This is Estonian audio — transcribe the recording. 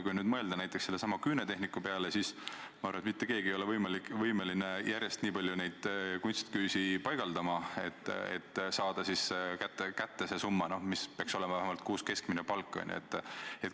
Kui nüüd mõelda näiteks küünetehniku peale, siis ma arvan, et mitte keegi ei ole võimeline järjest nii palju kunstiküüsi panema, et saada kätte vähemalt see miinimumsumma, mis peaks kuus keskmine palk olema.